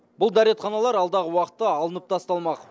бұл дәретханалар алдағы уақытта алынып тасталмақ